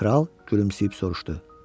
Kral gülümsəyib soruşdu.